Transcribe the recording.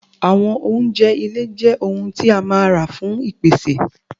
Àwọn oúnjẹ ile je ohun ti a máa ra fún ìpèsè